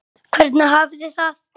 Hvernig hafið þið það?